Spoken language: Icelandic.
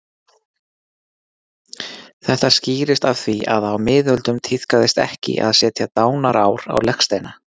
Þetta skýrist af því að á miðöldum tíðkaðist ekki að setja dánarár á legsteina.